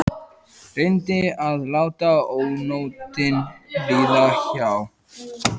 Reyndi að láta ónotin líða hjá.